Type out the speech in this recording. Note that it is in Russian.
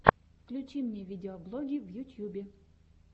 включи мне видеоблоги в ютьюбе